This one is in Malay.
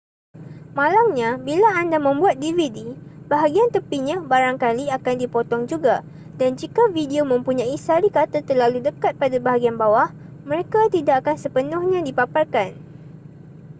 malangnya bila anda membuat dvd bahagian tepinya barangkali akan dipotong juga dan jika video mempunyai sari kata terlalu dekat pada bahagian bawah mereka tidak akan sepenuhnya dipaparkan